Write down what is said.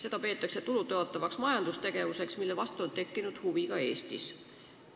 Seda peetakse tulu tõotavaks majandustegevuseks, mille vastu on tekkinud huvi ka Eestis.